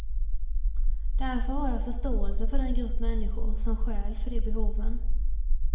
Därför har jag förståelse för den grupp människor, som stjäl för de behoven.